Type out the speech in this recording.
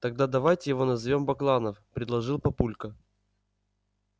тогда давайте его назовём бакланов предложил папулька